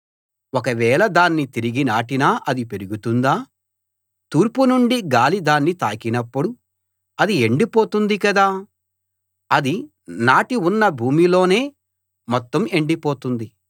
ఒకవేళ దాన్ని తిరిగి నాటినా అది పెరుగుతుందా తూర్పునుండి గాలి దాన్ని తాకినప్పుడు అది ఎండిపోతుంది కదా అది నాటి ఉన్న భూమిలోనే మొత్తం ఎండిపోతుంది